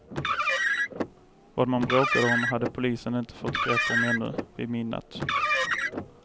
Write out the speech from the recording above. Vad man bråkade om hade polisen inte fått grepp om ännu vid midnatt.